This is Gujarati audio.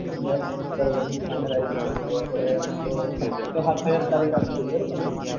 બરાબર બરાબર હું final આવી જઈશ જો આપણે છ સાત તારીખ જ final રાખીએ બરાબરને?